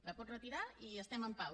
la pot retirar i estem en pau